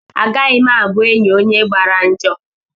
Agaghị m abụ enyị onye gbara njọ.